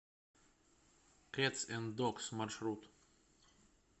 кэтс энд догс маршрут